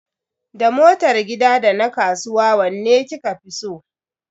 Da motar gida da na kasuwa wanne kika fi so?